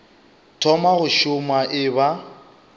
thoma go šoma e ba